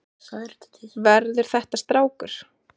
Verður þetta strákur?